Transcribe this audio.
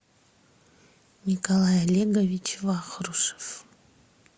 николай олегович вахрушев